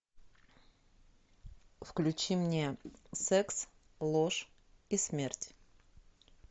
включи мне секс ложь и смерть